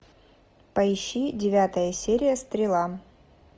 поищи девятая серия стрела